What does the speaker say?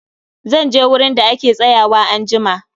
Zanje wurin da ake tsayuwa anjima